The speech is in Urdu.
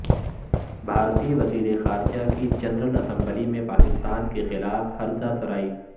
بھارتی وزیر خارجہ کی جنرل اسمبلی میں پاکستان کیخلاف ہرزہ سرائی